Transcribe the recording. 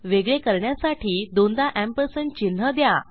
वेगळे करण्यासाठी दोनदा एम्परसँड चिन्ह द्या